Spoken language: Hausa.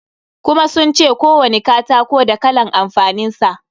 Kuma sun ce kowani katako da kalan amfanin sa.